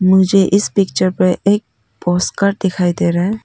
मुझे इस पिक्चर पर एक पोस्टर दिखाई दे रहा है।